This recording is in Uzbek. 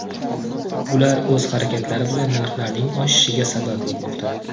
Ular o‘z harakatlari bilan narxlarning oshishiga sabab bo‘lmoqda.